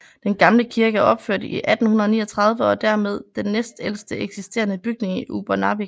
Den gamle kirke er opført 1839 og er dermed den næstældste eksisterende bygning i Upernavik